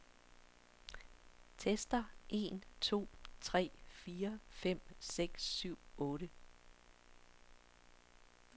Tester en to tre fire fem seks syv otte.